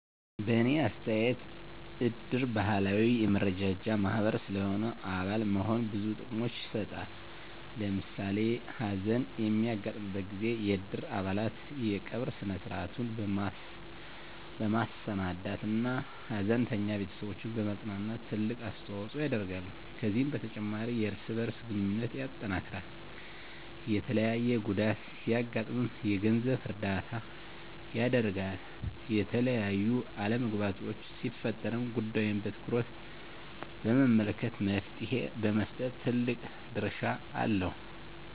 በእኔ አስተያየት እድር ባህላዊ የመረዳጃ ማህበር ስለሆነ አባል መሆን ብዙ ጥቅሞችን ይሰጣል። ለምሳሌ ሀዘን በሚያጋጥምበት ጊዜ የእድር አባላት የቀብር ስነ-ስርዐቱን በማሰናዳት እና ሀዘንተኛ ቤተስቦችን በማፅናናት ትልቅ አስተዋጽኦ ያደርጋሉ። ከዚህም በተጨማሪ የእርስ በእርስ ግንኙነትን ያጠናክራል፣ የተለያየ ጉዳት ሲያጋጥም የገንዘብ እርዳታ ያደርጋል፣ የተለያዩ አለመግባባቶች ሲፈጠሩም ጉዳዩን በትኩረት በመመልከት መፍትሔ በመስጠት ትልቅ ድርሻ አለው።